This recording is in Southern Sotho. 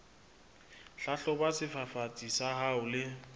hlahloba sefafatsi sa hao le